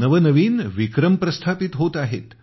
नवनवीन विक्रम प्रस्थापित होत आहेत